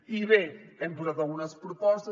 i bé hem posat algunes propostes